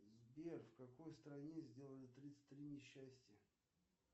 сбер в какой стране сделали тридцать три несчастья